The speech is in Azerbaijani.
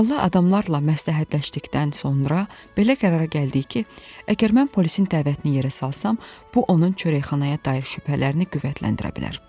Ağıllı adamlarla məsləhətləşdikdən sonra belə qərara gəldik ki, əgər mən polisin dəvətini yerə salsam, bu onun çörəkxanaya dair şübhələrini qüvvətləndirə bilər.